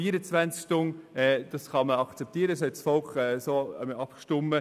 24 Stunden kann man akzeptieren, darüber hat das Volk abgestimmt.